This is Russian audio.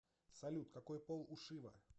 салют какой пол у шива